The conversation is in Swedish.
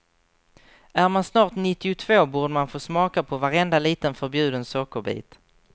Är man snart nittiotvå, borde man få smaka på varenda liten förbjuden sockerbit.